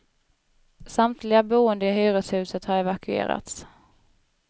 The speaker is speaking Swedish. Samtliga boende i hyreshuset har evakuerats.